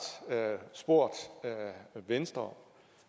spurgt venstre